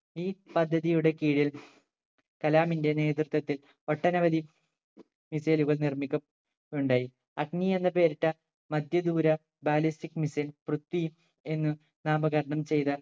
ഈ പദ്ധതിയുടെ കീഴിൽ കലാമിന്റെ നേതൃത്വത്തിൽ ഒട്ടനവധി missile കൾ നിർമിക്കപ്പെ ഉണ്ടായി അഗ്നി എന്നുപേരിട്ട മധ്യദൂര ballistic missile പൃത്ഥ്വി എന്ന് നാമകരണം ചെയ്ത